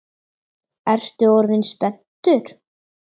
Ertu orðinn spenntur?